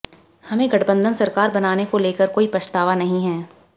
हमें गठबंधन सरकार बनाने को लेकर कोई पछतावा नहीं है